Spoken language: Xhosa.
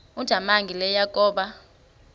ujamangi le yakoba